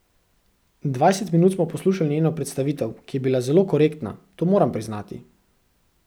Dvajset minut smo poslušali njeno predstavitev, ki je bila zelo korektna, to moram priznati.